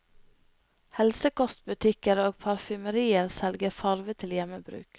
Helsekostbutikker og parfymerier selger farve til hjemmebruk.